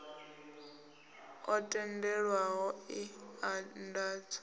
o tendelwaho e a andadzwa